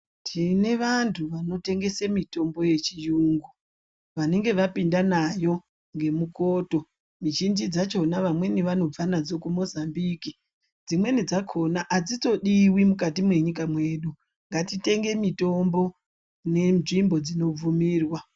Tine vantu vanotengese mitombo yechiyungu, vanenge vapinda nayo ngemukoto. Mizhinji dzakhona vamweni vanobva nadzo kuMozambique, dzimweni dzakhona adzitodiwi mukati mwenyika mwedu. Ngatitenge mitombo nenzvimbo dzinobvumirwa.